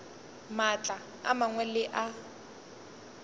maatla a mangwe le a